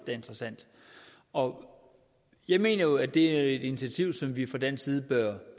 er interessant og jeg mener jo det er et initiativ som vi fra dansk side bør